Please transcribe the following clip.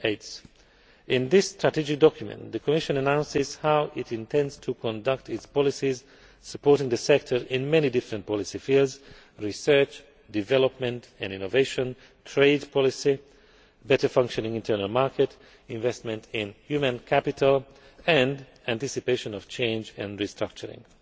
2012. In this strategic document, the Commission announces how it intends to conduct its policies supporting the sector in many different policy fields research, development and innovation, trade policy, a better functioning internal market, investment in human capital and the anticipation of change and restructuring.